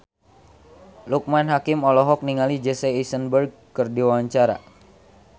Loekman Hakim olohok ningali Jesse Eisenberg keur diwawancara